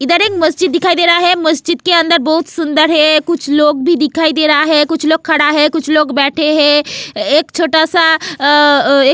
इधर एक मस्जिद दिखाई दे रहा है मस्जिद के अंदर बहुत सुंदर है कुछ लोग भी दिखाई दे रहा है कुछ लोग खड़ा है कुछ लोग बैठे हैं एक छोटा सा.